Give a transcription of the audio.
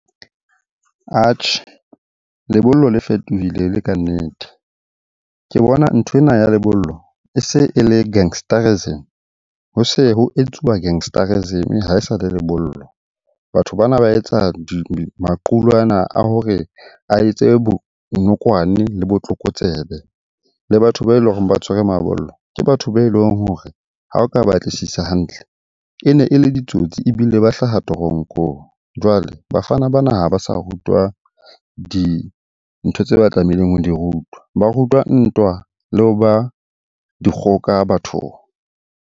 Atjhe, lebollo le fetohile e le kannete. Ke bona nthwena ya lebollo e se e le gangsterism, ho se ho etsuwa gangsterism ha e sa le lebollo. Batho bana ba etsa maqulwana a hore a etse bonokwane le botlokotsebe. Le batho ba eleng hore ba tshwere mabollo ke batho be leng hore ha o ka batlisisa hantle, e ne e le ditsotsi ebile ba hlaha toronkong. Jwale bafana bana ha ba sa rutwa dintho tseo ba tlamehileng ho di rutwa. Ba rutwa ntwa le ho ba dikgoka bathong.